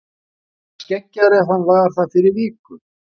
Er hann skeggjaður ef hann var það fyrir viku?